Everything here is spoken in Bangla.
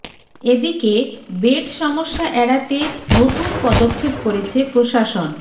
এদিকে বেড সমস্যা এড়াতে নতুন পদক্ষেপ করেছে প্রশাসন